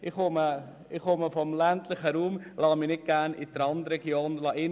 Ich komme aus dem ländlichen Raum und lasse mich nicht gerne in die Randregion drängen.